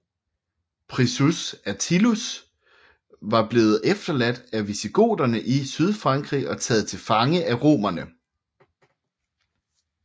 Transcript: Priscus Attalus var blevet efterladt af visigoterne i Sydfrankrig og taget til fange af romerne